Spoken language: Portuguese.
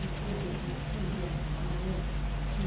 Eu fui, o quê, com uns quinze anos para lá? É, quin